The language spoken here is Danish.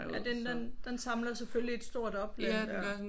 Ja den den den samler selvfølgelig et stor opland der